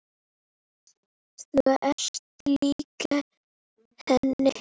Þú ert lík henni.